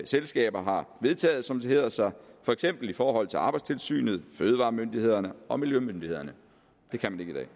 selskaber har vedtaget som det hedder sig for eksempel i forhold til arbejdstilsynet fødevaremyndighederne og miljømyndighederne det kan man ikke